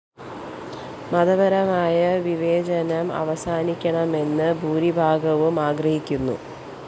മതപരമായ വിവേചനം അവസാനിക്കണമെന്ന് ഭൂരിഭാഗവും ആഗ്രഹിക്കുന്നു